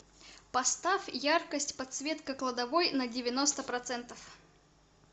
поставь яркость подсветка кладовой на девяносто процентов